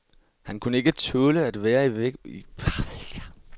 Han kunne ikke tåle at være i vuggestue.